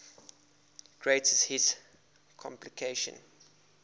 greatest hits compilation